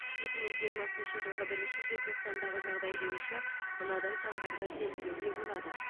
екі мың жиырмасыншы жылғы бірінші желтоқсандағы жағдай бойынша мынадай сандарды келтіруге болады